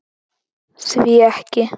Hví ekki?